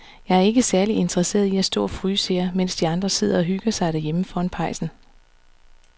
Jeg er ikke særlig interesseret i at stå og fryse her, mens de andre sidder og hygger sig derhjemme foran pejsen.